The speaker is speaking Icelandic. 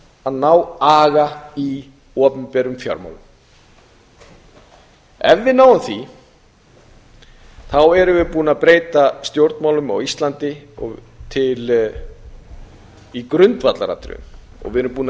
að ná aga í opinberum fjármálum ef við náum því erum við búin að breyta stjórnmálum á íslandi í grundvallaratriðum og við erum búin að